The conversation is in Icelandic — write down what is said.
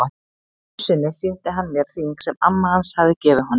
Einu sinni sýndi hann mér hring sem amma hans hafði gefið honum.